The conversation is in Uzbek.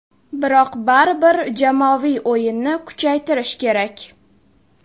Biroq baribir jamoaviy o‘yinni kuchaytirish kerak.